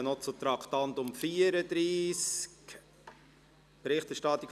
Wir kommen noch zum Traktandum 34, «Berichterstattung